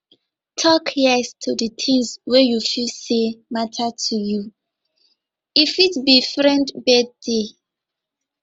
talk yes to di things wey you feel sey matter to you e fit be friend birthday